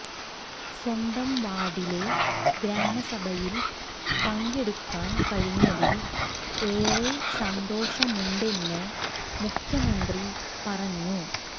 സ്വന്തം വാർഡിലെ ഗ്രാമസഭയിൽ പെങ്കടുക്കാൻ കഴിഞ്ഞതിൽ ഏറെ സന്തോഷമുണ്ടെന്ന് മുഖ്യമന്ത്രി പറഞ്ഞു